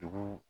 Dugu